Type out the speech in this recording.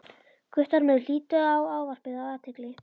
Guttormur hlýddi á ávarpið af athygli.